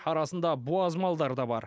арасында буаз малдар да бар